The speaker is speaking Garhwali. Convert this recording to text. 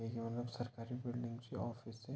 यून सरकरी बिल्डिंग च ऑफीस च।